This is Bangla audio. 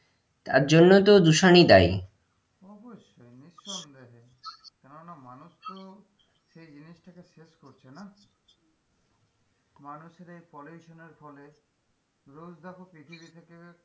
তার জন্য তো দূষণই দায়ী অবশ্যই নিঃসন্দেহে কেননা মানুষ তো সেই জিনিস টা কে শেষ করছে না মানুষের এই poliution এর ফলে রোজ দেখো পৃথিবী থেকে,